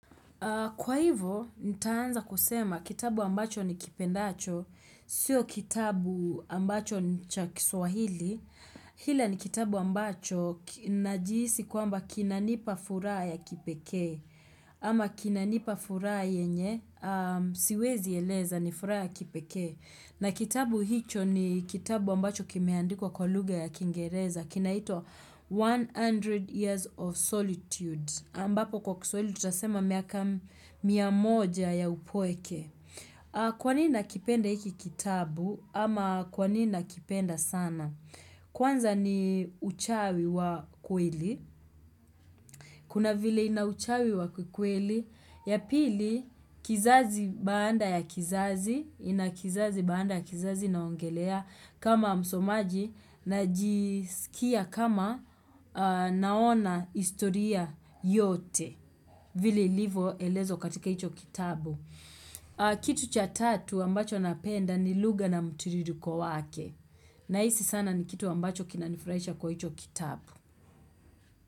Kwa hivyo, nitaanza kusema kitabu ambacho ni kipendacho, siyo kitabu ambacho ni chakiswahili. Hila ni kitabu ambacho na jiisi kuamba kinanipa furaha ya kipekee. Ama kinanipa furaha yenye, siwezi eleza ni furaha ya kipekee. Na kitabu hicho ni kitabu ambacho kimeandikwa kwalugha ya kingereza. Kinaito 100 Years of Solitude. Ambapo kwa kisawili tutasema miyaka miyamoja ya upweke. Kwanini nakipenda iki kitabu ama kwanini nakipenda sana? Kwanza ni uchawi wa kweli. Kuna vile ina uchawi wa kweli. Yapili, kizazi banda ya kizazi, ina kizazi banda ya kizazi naongelea kama msomaji na jisikia kama naona historia yote. Vili livo elezo katika ito kitabu. Kitu cha tatu wambacho napenda ni lugha na mtiririko kwa wake. Na hisi sana ni kitu wambacho kinanifurahisha kwa hicho kitabu.